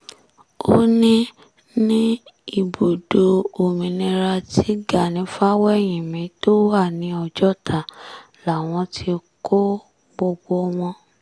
ó ní ní ibùdó òmìnira tí gani fáwẹ́hìnmí tó wà ní ọjọ́ta làwọn ti kọ́ gbogbo wọn